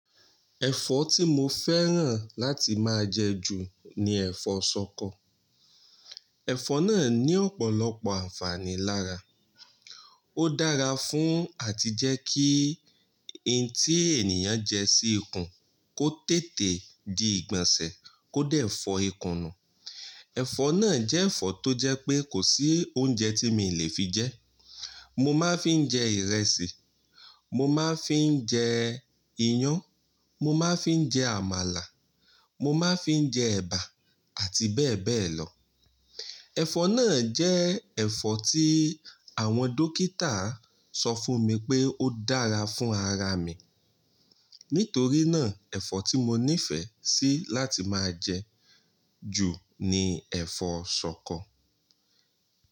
Ẹ̀fọ́ tí mo fẹ́ràn láti máa jẹ ju ni ẹ̀fọ́ ṣọkọ. Ẹ̀fọ́ náà ní ọ̀pọ̀lọpọ̀ ànfàní lára. Ó dára fún àti jẹ́ kí ohun tí ènìyàn jẹ sí ikùn kó tètè di ìgbọ̀nsẹ̀ kó dẹ̀ fọ ìkùn nù. Ẹ̀fọ́ náà jẹ́ ẹ̀fọ́ tó jẹ́ pé kò sí oúnjẹ tí mi lè fi jẹ. Mo máa ń fi jẹ ìrẹsì, mo máa ń fi jẹ iyán, mo máa ń fi jẹ àmàlà, mo máa ń fi jẹ ẹ̀bà àti bẹ́ẹ̀ bẹ́ẹ̀ lọ. Ẹ̀fọ́ náà jẹ́ ẹ̀fọ́ tí àwọn dókítà sọ fún mi pé ó dára fún ara mi. Nítorí náà ẹ̀fọ́ tí mo nífẹ̀ẹ́ sí láti máa jẹ ju ni ẹ̀fọ́ ṣọkọ.